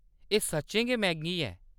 एह्‌‌ सच्चें गै मैंह्‌‌गी ऐ।